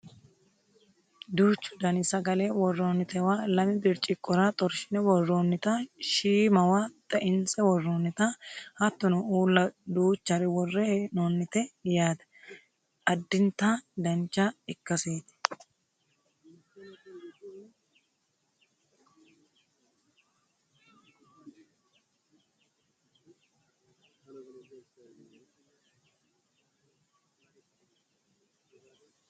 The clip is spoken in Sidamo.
duuchu dani sagale worroonitewa lame birciqqora xorshine worroonnita shiimawa xeinse worroonnita hattono uulla duuchare worre hee'noonnite yaate addinta dancha ikkaseti